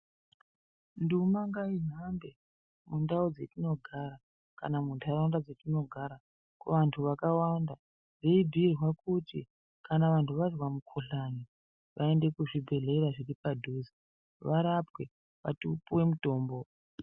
Nduma ngaihambe mundau dzatinogara kana mundaraunda mwatinogara teibhuirwa kuti kana wanzwa mukuhlani muntu ngaaende kuzvibhedhlera zviri padhuze varapwe vapiwe mutombo .